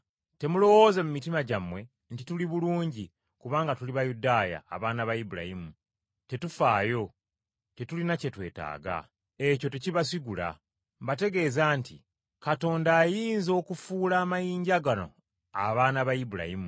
Temulowooza mu mitima gyammwe nti, ‘Tuli bulungi kubanga tuli Bayudaaya, abaana ba Ibulayimu, tetufaayo, tetulina kye twetaaga.’ Ekyo tekibasigula. Mbategeeza nti, Katonda ayinza okufuula amayinja gano abaana ba Ibulayimu!